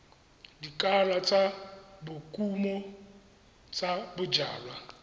lekala la dikumo tsa bojalwa